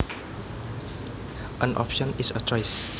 An option is a choice